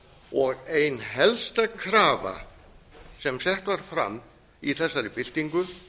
og ein helsta krafa sem sett var fram í þessari byltingu